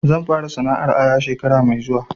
Zan fara sana'ar aya shekara mai zuwa